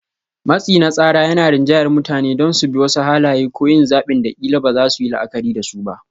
Matsi na tsara yana rinjayar mutane don su bi wasu halaye ko yin zaɓin da ƙila ba za su yi la'akari da su ba.